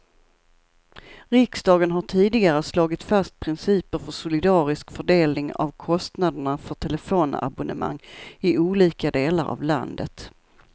Riksdagen har tidigare slagit fast principer för solidarisk fördelning av kostnaderna för telefonabonnemang i olika delar av landet.